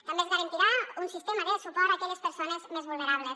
també es garantirà un sistema de suport a aquelles persones més vulnerables